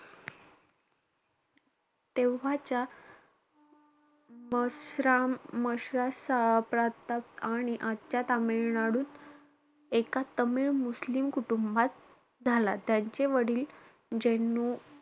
तेव्हाच्या मस्त्र~ मशरा प्रांतात आणि आजच्या तामिळनाडूत एका तामिळ-मुस्लिम कुटुंबात झाला. त्यांचे वडील जेनु,